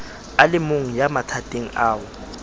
a lemong ya mathateng ao